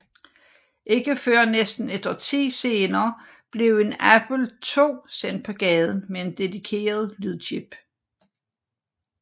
Ikke før næsten et årti senere blev en Apple II sendt på gaden med en dedikeret lydchip